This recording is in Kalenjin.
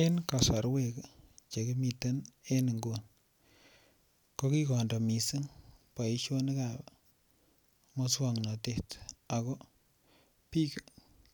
En kasarwek Che kimiten en nguni ko ki kondo mising boisionik ab moswoknatet bik